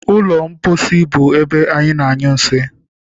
Ụlọ mposi bụ ebe ana- anyụ nsị.